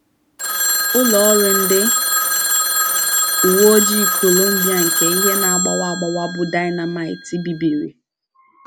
Ụlọ ọrụ ndị uwe ojii Colombia nke ihe na - agbawa agbawa bụ́ “ dynamite ” bibiri